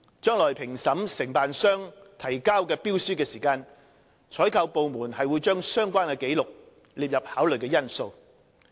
將來在評審承辦商提交的標書時，採購部門會將相關紀錄列入考慮因素。